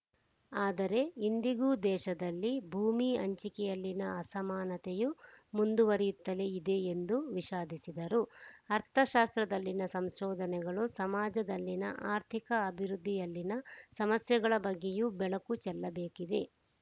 ಆದರೆ ಇಂದಿಗೂ ದೇಶದಲ್ಲಿ ಭೂಮಿ ಹಂಚಿಕೆಯಲ್ಲಿನ ಅಸಮಾನತೆಯು ಮುಂದುವರಿಯುತ್ತಲೇ ಇದೆ ಎಂದು ವಿಷಾದಿಸಿದರು ಅರ್ಥಶಾಸ್ತ್ರದಲ್ಲಿನ ಸಂಶೋಧನೆಗಳು ಸಮಾಜದಲ್ಲಿನ ಆರ್ಥಿಕ ಅಭಿವೃದ್ಧಿಯಲ್ಲಿನ ಸಮಸ್ಯೆಗಳ ಬಗ್ಗೆಯೂ ಬೆಳಕು ಚೆಲ್ಲಬೇಕಿದೆ